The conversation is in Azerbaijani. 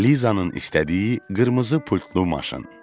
Lizanın istədiyi qırmızı pultlu maşın.